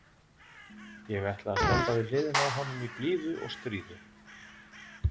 Ég ætla að standa við hliðina á honum í blíðu og stríðu.